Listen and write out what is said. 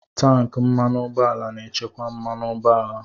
Tanki mmanụ ụgbọala na-echekwa mmanụ ụgbọala